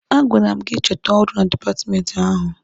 A gwara m gị chọta ọrụ na dipatmenti ahụ!